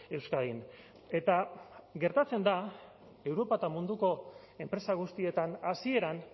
euskadin eta gertatzen da europa eta munduko enpresa guztietan hasieran